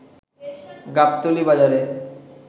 গাবতলী বাজারে